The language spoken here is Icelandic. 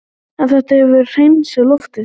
En þetta hefur hreinsað loftið